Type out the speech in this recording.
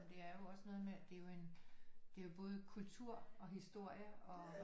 Det er jo også noget med det er jo en det er jo både kultur og historie og